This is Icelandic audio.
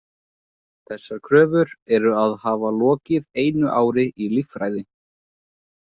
Þessar kröfur eru að hafa lokið einu ári í líffræði.